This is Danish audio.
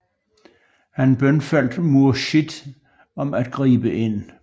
Han bønfaldt Murshid om at gribe ind